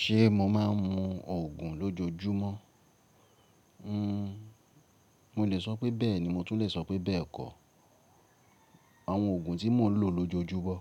Ṣe mo máa ń mu ògùn lójojúmọ́? Hmm, mo lè sọ pé bẹ́ẹ̀ ni mo tún lè sọ pé bẹ́ẹ̀ kọ́. Àwọn òògùn tí mò ń lò lójojúmọ́,